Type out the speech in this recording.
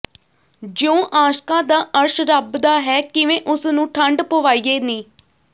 ਜਿਊ ਆਸ਼ਕਾਂ ਦਾ ਅਰਸ਼ ਰੱਬ ਦਾ ਹੈ ਕਿਵੇਂ ਓਸ ਨੂੰ ਠੰਡ ਪਵਾਈਏ ਨੀ